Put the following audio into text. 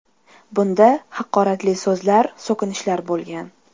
Bunda haqoratli so‘zlar, so‘kinishlar bo‘lgan.